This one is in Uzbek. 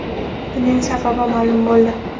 Buning sababi ma’lum bo‘ldi.